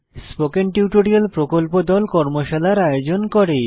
spoken tutorial প্রকল্প দল কর্মশালার আয়োজন করে